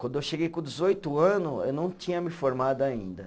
Quando eu cheguei com dezoito anos, eu não tinha me formado ainda.